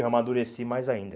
Eu amadureci mais ainda.